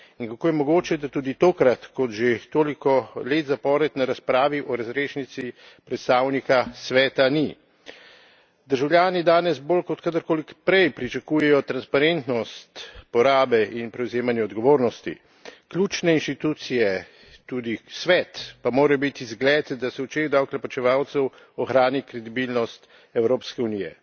In kako je mogoče, da tudi tokrat, kot že toliko let zapored, na razpravi o razrešnici predstavnika Sveta ni? Državljani danes bolj kot kadarkoli prej pričakujejo transparentnost porabe in prevzemanje odgovornosti. Ključne institucije, tudi Svet, pa morajo biti zgled, da se v očeh davkoplačevalcev ohrani kredibilnost Evropske unije.